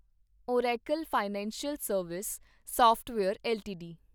Oracle financial service software LTD